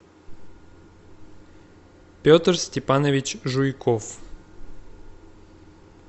петр степанович жуйков